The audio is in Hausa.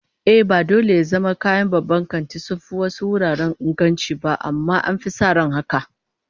Ehh, ba dole ya zama kayan babban kanti sun fi wasu wuraren inganci ba, amma an fi sa ran haka